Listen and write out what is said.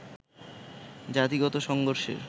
জাতিগত সংঘর্ষের